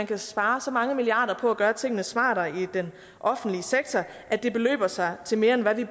kan spares så mange milliarder på at gøre tingene smartere i den offentlige sektor at det beløber sig til mere end hvad vi